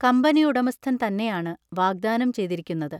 കമ്പനിയുടമസ്ഥൻ തന്നെയാണ് വാഗ്ദാനം ചെയ്തിരിക്കുന്നത്.